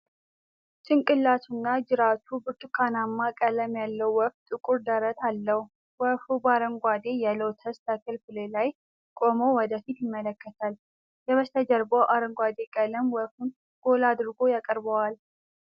ጭንቅላቱና ጅራቱ ብርቱካናማ ቀለም ያለው ወፍ ጥቁር ደረት አለው። ወፉ በአረንጓዴ የሎተስ ተክል ፍሬ ላይ ቆሞ ወደ ፊት ይመለከታል። የበስተጀርባው አረንጓዴ ቀለም ወፉን ጎላ አድርጎ ያቀርበዋል።